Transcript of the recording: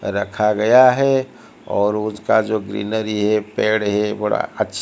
रखा गया है और उसका जो ग्रीनरी है पेड़ है बड़ा अ--